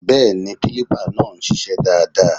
Bẹ́ẹ̀ni, kílípà náà ń ṣiṣẹ́ dáadáa